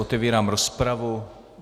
Otevírám rozpravu.